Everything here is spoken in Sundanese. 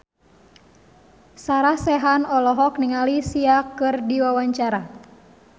Sarah Sechan olohok ningali Sia keur diwawancara